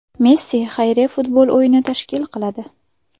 Messi xayriya futbol o‘yini tashkil qiladi.